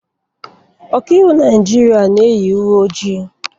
Ọkaiwu Naijiria na-eyi uwe ojii